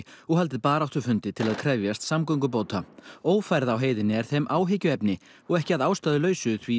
og haldið baráttufundi til að krefjast samgöngubóta ófærð á heiðinni er þeim áhyggjuefni og ekki að ástæðulausu því